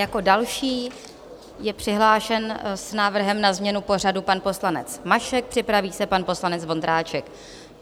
Jako další je přihlášen s návrhem na změnu pořadu pan poslanec Mašek, připraví se pan poslanec Vondráček.